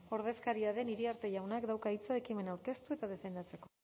ordezkaria den iriarte jaunak dauka hitza ekimena aurkeztu eta defendatzeko